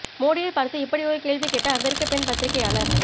மோடியை பார்த்து இப்படி ஒரு கேள்வி கேட்ட அமெரிக்க பெண் பத்திரிகையாளர்